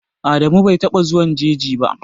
Adamu bai taɓa zuwan jeji ba.